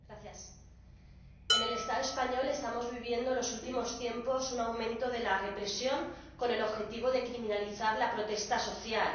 Señor Presidente, en el Estado español estamos viviendo en los últimos tiempos un aumento de la represión, con el objetivo de criminalizar la protesta social.